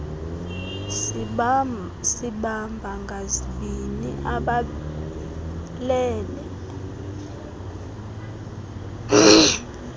sibamba ngazibini abalele